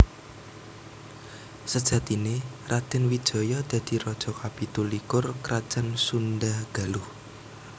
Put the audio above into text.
Sejatiné Radèn Wijaya dadi raja kapitu likur Krajan Sundha Galuh